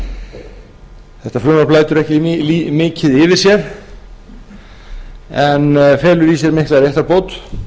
skaðabótalögum þetta frumvarp lætur ekki mikið yfir sér en felur í sér mikla réttarbót